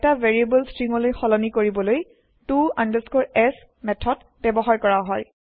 এটা ভেৰিয়েব্ল ষ্ট্ৰীংলৈ সলনি কৰিবলৈ to s মেঠদ ব্যৱহাৰ কৰা হয়